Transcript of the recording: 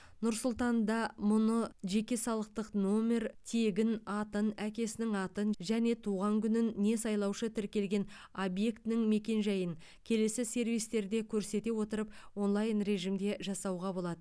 нұр сұлтанда мұны жеке салықтық нөмер тегін атын әкесінің атын және туған күнін не сайлаушы тіркелген объектінің мекенжайын келесі сервистерде көрсете отырып онлайн режимде жасауға болады